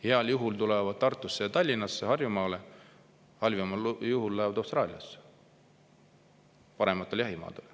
Heal juhul tulevad Tartusse või Tallinnasse, Harjumaale, halvimal juhul lähevad Austraaliasse parematele jahimaadele.